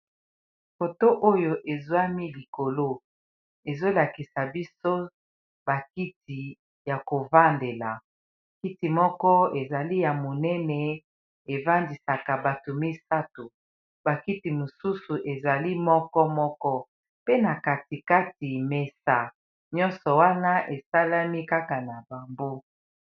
moto oyo ezwami likolo ezolakisa biso bakiti ya kovandela kiti moko ezali ya monene evandisaka bato misato bakiti mosusu ezali moko moko pe na katikati mesa nyonso wana esalami kaka na bambo